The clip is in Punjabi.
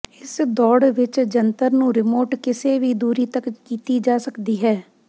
ਇਸ ਦੌੜ ਵਿੱਚ ਜੰਤਰ ਨੂੰ ਰਿਮੋਟ ਕਿਸੇ ਵੀ ਦੂਰੀ ਤੱਕ ਕੀਤੀ ਜਾ ਸਕਦੀ ਹੈ